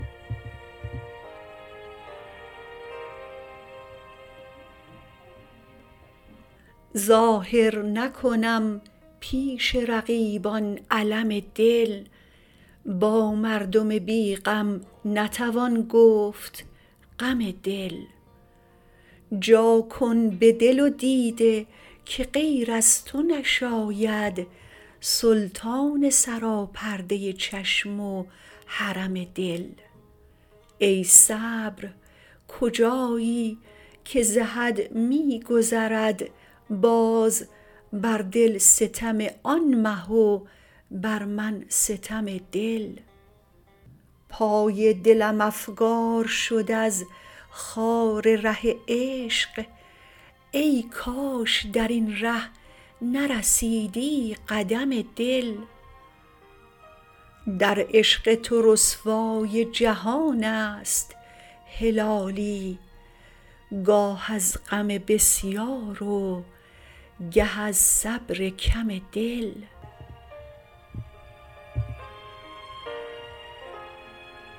ظاهر نکنم پیش رقیبان الم دل با مردم بی غم نتوان گفت غم دل جا کن به دل و دیده که غیر از تو نشاید سلطان سراپرده چشم و حرم دل ای صبر کجایی که ز حد میگذرد باز بر دل ستم آن مه و بر من ستم دل پای دلم افگار شد از خار ره عشق ای کاش درین ره نرسیدی قدم دل در عشق تو رسوای جهانست هلالی گاه از غم بسیار و گه از صبر کم دل